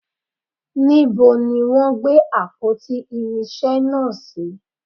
Níbo ni wọn gbé àpótí irinsé náà si?